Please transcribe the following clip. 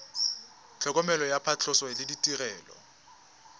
tlhokomelo ya phatlhoso le ditirelo